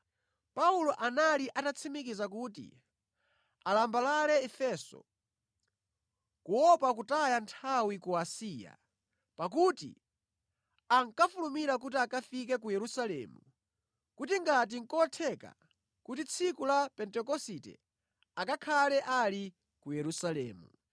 Paulo anali atatsimikiza kuti alambalale Efeso kuopa kutaya nthawi ku Asiya, pakuti ankafulumira kuti akafike ku Yerusalemu kuti ngati nʼkotheka kuti tsiku la Pentekosite akakhale ali ku Yerusalemu.